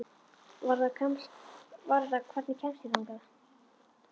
Varða, hvernig kemst ég þangað?